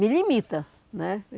Me limita, né?